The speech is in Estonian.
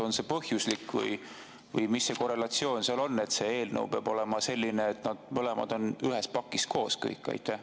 On see põhjuslik või mis see korrelatsioon seal on, et see eelnõu peab olema selline, et kõik on ühes pakis koos?